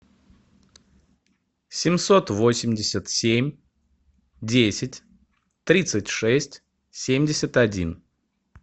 семьсот восемьдесят семь десять тридцать шесть семьдесят один